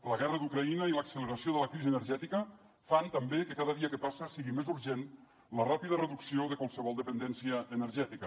la guerra d’ucraïna i l’acceleració de la crisi energètica fan també que cada dia que passa sigui més urgent la ràpida reducció de qualsevol dependència energètica